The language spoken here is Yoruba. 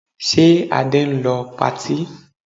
Ṣe Adé ń lọ patí?